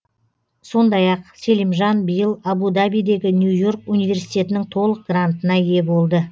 сондай ақ селимжан биыл абу дабидегі нью и орк университетінің толық грантына ие болды